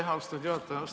Aitäh, austatud juhataja!